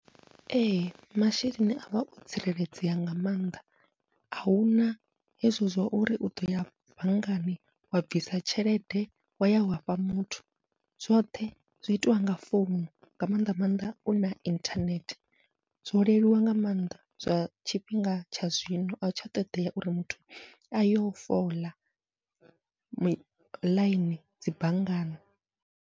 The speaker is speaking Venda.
Ee masheleni avha o tsireledzea nga maanḓa, ahuna hezwo zwa uri uḓoya banngani wa bvisa tshelede waya wafha muthu, zwoṱhe zwi itiwa nga founu nga mannḓa maanḓa u na inthanethe zwo leluwa nga maanḓa zwa tshifhinga tsha zwino, ahu tsha ṱodea uri muthu ayo fola ḽaini dzi banngani.